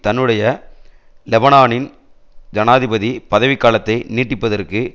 தன்னுடைய லெபனானின் ஜனாதிபதி பதவிக்காலத்தை நீட்டிப்பதற்கு